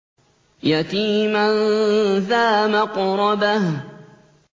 يَتِيمًا ذَا مَقْرَبَةٍ